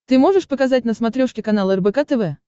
ты можешь показать на смотрешке канал рбк тв